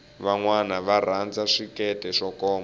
vanwana va rhanza swikete swo koma